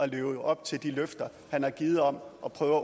leve op til de løfter han har givet om at prøve